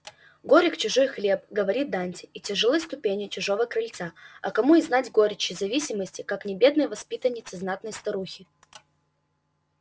горек чужой хлеб говорит данте и тяжелы ступени чужого крыльца а кому и знать горечь и зависимости как не бедной воспитаннице знатной старухи